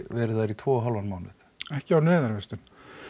verið þar í tvo og hálfan mánuð ekki á neyðarvistun